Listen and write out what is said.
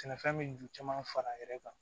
Sɛnɛfɛn min ju caman fara yɛrɛ kan